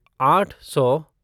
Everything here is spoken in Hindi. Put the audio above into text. आठ सौ